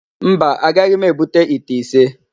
Mba, agaghị m ebute ite ise.